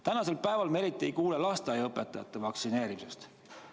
Tänasel päeval me eriti ei kuule lasteaiaõpetajate vaktsineerimisest.